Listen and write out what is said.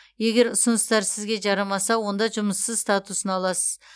егер ұсыныстар сізге жарамаса онда жұмыссыз статусын аласыз